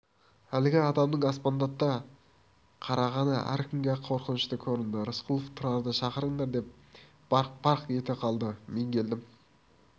әлгі адамның аспандата қарағаны әркімге-ақ қорқынышты көрінді рысқұлов тұрарды шақырыңдар деп барқ-барқ ете қалды мен келдім